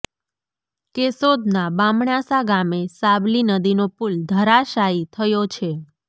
કેશોદના બામણાસા ગામે સાબલી નદીનો પુલ ધરાશાયી થયો છે